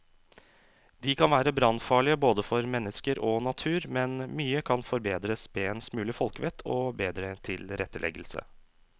De kan være brannfarlige både for mennesker og natur, men mye kan forbedres med en smule folkevett og bedre tilretteleggelse.